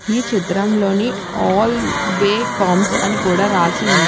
ఈ చిత్రంలోని అల్ బె కామ్స్ అని కూడా రాసి ఉంది.